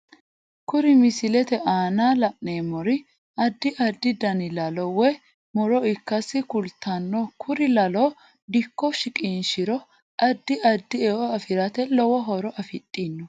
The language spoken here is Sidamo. Kuri misilete aana la'neemori addi addi danni laalo woy muro ikkase kulttanno kuri laalo dikko shiqishiro addi addi e'o afirate lowo horo afidhino